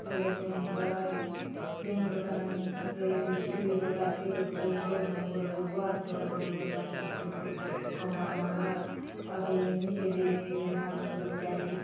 बड़े बैंक आय बैंक थाने ऊपरे एदे सीढ़ी बले आचे ऊपरे लोग मन बले रहुआत घर मन बले आचे ऊपरे कमरा - कमरा आउर नीचे ले एक झन आदमी बले जायसी आचे।